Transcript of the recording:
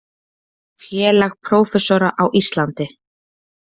Félag prófessora á Íslandi.